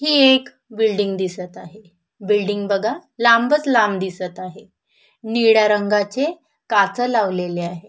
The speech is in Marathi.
हे एक बिल्डींग दिसत आहे बिल्डींग बघा लांबच लांब दिसत आहे निळ्या रंगाचे काच लावलेले आहे.